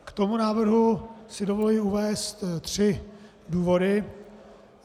K tomu návrhu si dovoluji uvést tři důvody.